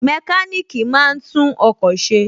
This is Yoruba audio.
Mẹkáníkì máa ń tún ọkọ̀ ṣe